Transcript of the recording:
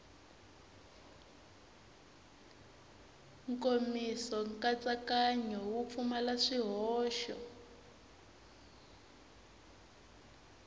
nkomiso nkatsakanyo wu pfumala swihoxo